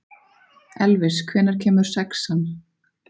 Elvis, hvenær kemur sexan?